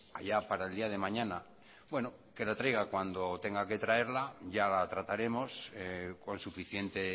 allá para el día de mañana bueno que la traiga cuando tenga que traerla ya la trataremos con suficiente